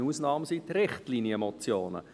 Eine Ausnahme sind die Richtlinienmotionen.